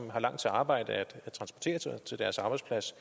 har langt til arbejde at transportere sig til deres arbejdsplads